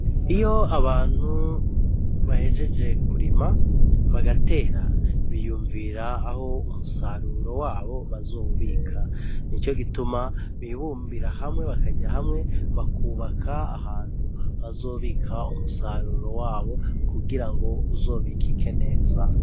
Iyo abantu bahejeje kurima bagatera, biyumvira aho umusaruro wabo bazowubika. Nico gituma bibumbira hamwe bakaja hamwe bakubaka ahantu bazobika umusaruro wabo kugira ngo uzobikike neza.